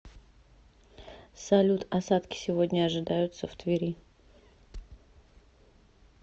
салют осадки сегодня ожидаются в твери